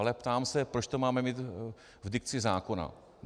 Ale ptám, se, proč to máme mít v dikci zákona.